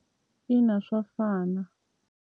Ina swa fana.